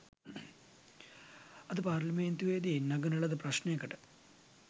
අද පාර්ලිමේන්තුවේදී නඟන ලද ප්‍රශ්නයකට